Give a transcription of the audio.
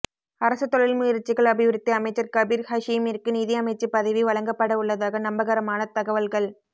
அரச தொழில்முயற்சிகள் அபிவிருத்தி அமைச்சர் கபீர் ஹஷீமிற்கு நிதி அமைச்சு பதவி வழங்கப்படவுள்ளதாக நம்பகரமான தகவல்கள்